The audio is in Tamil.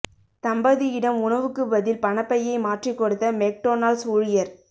தம்பதியிடம் உணவுக்கு பதில் பணப் பையை மாற்றிக் கொடுத்த மெக்டொனால்ட்ஸ் ஊழியர்